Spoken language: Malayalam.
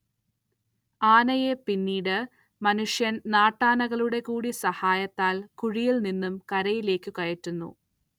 ആനയെ പിന്നീട് മനുഷ്യൻ നാട്ടാനകളുടെ കൂടി സഹായത്താൽ കുഴിയിൽ നിന്നും കരയിലേക്ക് കയറ്റുന്നു.